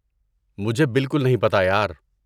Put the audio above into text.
مجھے باکل نہیں پتہ، یار۔